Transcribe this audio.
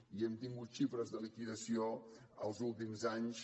i hem tingut xifres de liquidació els últims anys